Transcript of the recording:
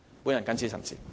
我謹此陳辭。